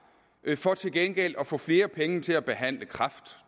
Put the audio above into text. for til gengæld at få flere penge til at behandle kræft